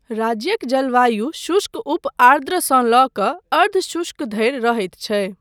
राज्यक जलवायु शुष्क उप आर्द्रसँ लऽ कऽ अर्ध शुष्क धरि रहैत छै।